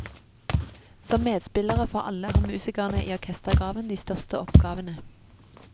Som medspillere for alle har musikerne i orkestergraven de største oppgavene.